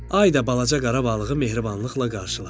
Ay da balaca qara balığı mehribanlıqla qarşıladı.